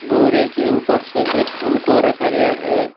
बोरे के ऊपर सफेद फूल को रखा गया है।